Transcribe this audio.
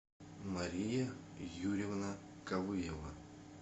мария юрьевна кавыева